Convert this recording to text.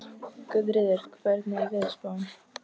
Guðríður, hvernig er veðurspáin?